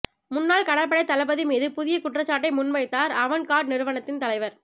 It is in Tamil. முன்னாள் கடற்படைத் தளபதி மீது புதிய குற்றச்சாட்டை முன்வைத்தார் அவன்ட் கார்ட் நிறுவனத்தின் தலைவர்